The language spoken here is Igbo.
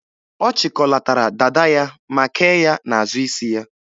Ọ chịkọlatara dada ya ma kee ya n'azụ isi ya.